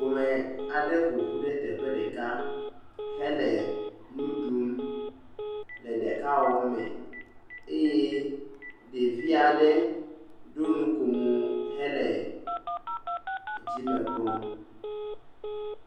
Ƒome aɖe ƒoƒu ɖe teƒe ɖeka hele nu ɖum le ɖekawɔwɔ me eye ɖevi aɖe ɖo nukomo hele dzime kpɔm.